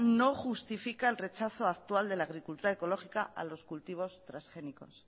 no justifica el rechazo actual de la agricultura ecológica a los cultivos transgénicos